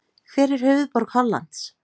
Hver er höfuðborg Hollands?